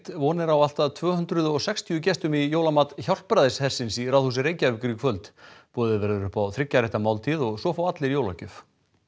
von er á allt að tvö hundruð og sextíu gestum í jólamat Hjálpræðishersins í Ráðhúsi Reykjavíkur í kvöld boðið verður upp á þriggja rétta máltíð og svo fá allir jólagjöf